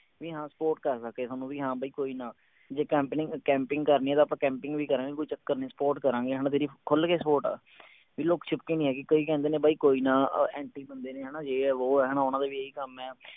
ਵੀ ਹਾਂ support ਕਰ ਸਕੇ ਥੋਨੂੰ ਵੀ ਹਾਂ ਬਈ ਕੋਈ ਨਾ ਜੇ ਕਰਨੀ ਆ ਤਾਂ ਆਪਾਂ camping ਵੀ ਕਰਾਂਗੇ ਕੋਈ ਚੱਕਰ ਨਹੀਂ support ਕਰਾਂਗੇ ਹਣਾ ਤੇਰੀ ਖੁੱਲ ਕੇ support ਆ ਲੁੱਕ ਛਿਪ ਕੇ ਨਹੀਂ ਹੈਗੀ ਕੋਈ ਕਹਿੰਦੇ ਨੇ ਬਾਈ ਕੋਈ ਨਾ anti ਬੰਦੇ ਨੇ ਹਣਾ ਯੇ ਹੈ ਵੋ ਹੈ ਹਣਾ ਓਹਨਾ ਦਾ ਵੀ ਇਹੀ ਕੰਮ ਹੈ